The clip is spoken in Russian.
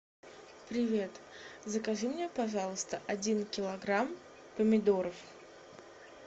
привет закажи мне пожалуйста один килограмм помидоров